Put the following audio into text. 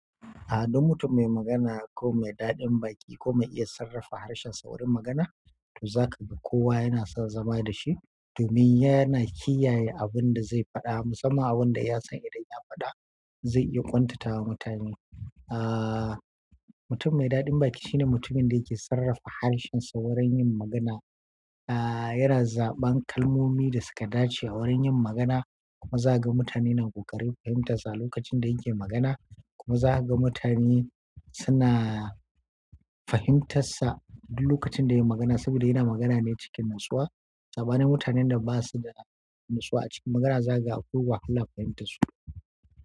A'a, duk mutum mai magana ko mai daɗin baki ko mai iya sarrafa harshensa wurin magana, to za ka ga kowa yana son zama da shi domin yana kiyaye abin da zai faɗa musamman abin da ya san idan ya faɗa zai iya kwantatawa mutane. Ah, mutum mai daɗin baki shine mutumin da yake sarrafa harshensa wurin yin magana. Ah, yana zaɓan kalmomi da suka dace a wurin yin magana kuma za ka ga mutane na ƙoƙarin fahimtarsa a lokacin da yake magana kuma za ka ga mutane suna fahimtar sa a duk lokacin da yayi magana saboda yana magana ne a cikin natsuwa. Sabanin mutanen da ba su da natsuwa a cikin magana za ka ga akwai wahala fahimtarsu.